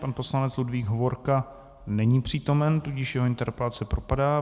Pan poslanec Ludvík Hovorka není přítomen, tudíž jeho interpelace propadá.